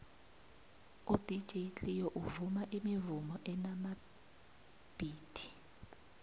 udj cleo uvuma imivumo enamabhithi